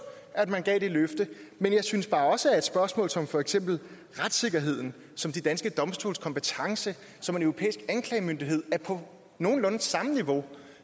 at man gav det løfte men jeg synes bare også at spørgsmål som for eksempel retssikkerheden som de danske domstoles kompetence og som en europæisk anklagemyndighed er på nogenlunde samme niveau